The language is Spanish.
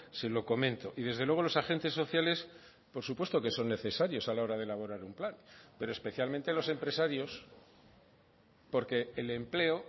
se lo comento y desde luego los agentes sociales por supuesto que son necesarios a la hora de elaborar un plan pero especialmente los empresarios porque el empleo